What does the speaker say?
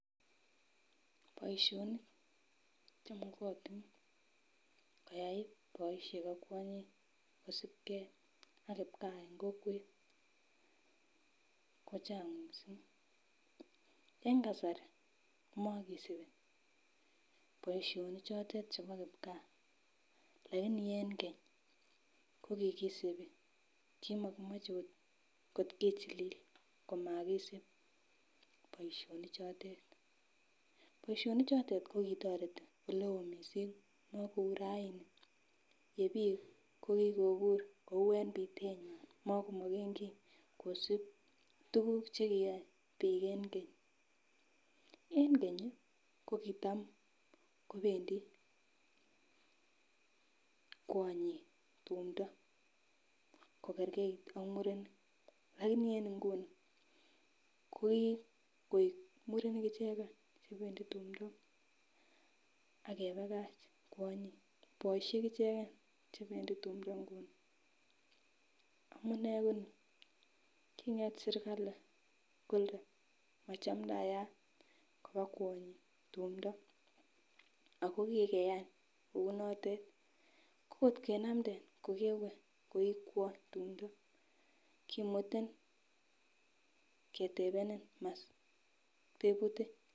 Boisionik chemakatin koyai boisiek ak kwanyik kosupkee ak kipgaa en kokwet kochang missing en kasari komokisip boisionichotet chepo kipgaa laini en kenye kokikisipi kimokimoche ot kot kichilil komakisip boisionichotet, boisionichotet kokitoreti oleo missing makou raini ye biik kokikobur kou en bitenywan makomakeneki kosip tukuk chegiyo biik en keny, en keny kokitam kobendi kwonyik tumdoo kokerkeit ak murenik lakini en inguni kokikoik murenik icheken chebendi tumdo ake kepakach kwonyik boisiek icheken chebendi tumdo nguni amunee koni king'et serikali kole machamdayat kopaa kwonyik tumdo ako kekeyan kounotet ko kot kenamnden kokewe koi kwony tumdo kimutin ketebenen maswali tebutik.